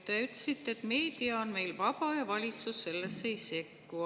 Te ütlesite, et meedia on meil vaba ja valitsus sellesse ei sekku.